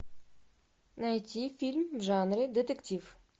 найти фильм в жанре детектив